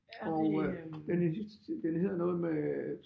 Og øh den er den hedder noget med